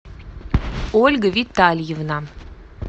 ольга витальевна